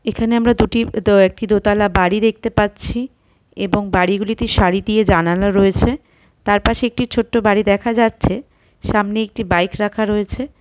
এখানে আমরা দুটি দ একটি দোতলা বাড়ির দেখতে পাচ্ছি | এবং বাড়িগুলিতে সারি দিয়ে জানালা রয়েছে | তার পাশে একটি ছোট্ট বাড়ি দেখা যাচ্ছে | সামনে একটি বাইক রাখা রয়েছে।